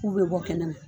K'u bɛ bɔ kɛnɛma